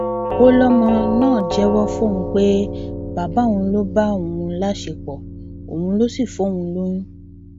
ó lọmọ náà jẹwọ fóun pé bàbá òun ló bá òun láṣepọ òun ló sì fóun lóyún